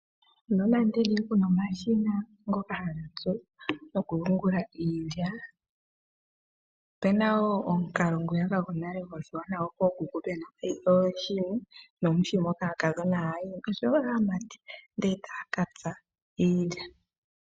Nonando kuna omashina ngoka haga tsu noku yuungula iilya opena wo omukalo ngoka gwonale gookuku ngoka pena oshini moka aakadhona haya yimo oshowo aamati ndee taya katsa iilya.